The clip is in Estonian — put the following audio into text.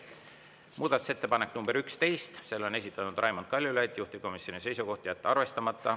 Muudatusettepanek nr 11, selle on esitanud Raimond Kaljulaid, juhtivkomisjoni seisukoht: jätta arvestamata.